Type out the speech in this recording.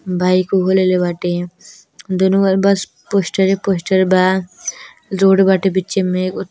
Bike उ लेले बाटे। दुनू ओर बस पोस्टरे पोस्टर बा। रोड बाटे बीचे में।